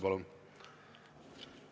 Palun!